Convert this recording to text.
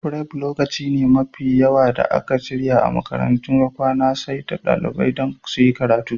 Fref lokaci ne mafi yawa a cikin makarantar kwana da aka saita don dalibai suyi karatu.